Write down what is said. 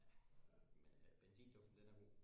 Ja men øh benzinduften den er god